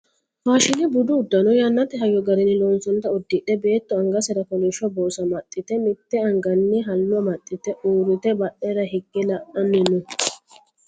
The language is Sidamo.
faashine budu uddano yannate hayyo garinni loonsoonnita uddidhe beetto angasera kolishsho borsa amaxxite mitte anganni hallo amaxxite uurrite badhera higge la"anni no